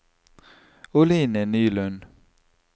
Oline Nylund